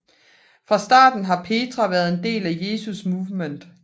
Fra starten har Petra været en del af Jesus Movement